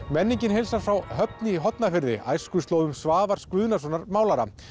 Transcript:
menningin heilsar frá Höfn í Hornafirði æskuslóðum Svavars Guðnasonar málara